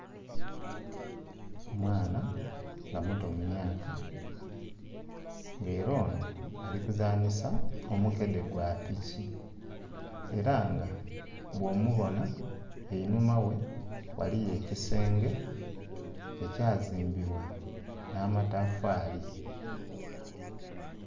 Mwana nga muto mu myaka ng'ela ono ali kuzanhisa omukede gwa piki. Era nga bwomubona einhuma ghe ghaliyo ekisenge ekyazimbibwa nh'amatafaali.